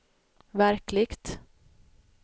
verkligt